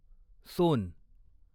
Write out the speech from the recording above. सोन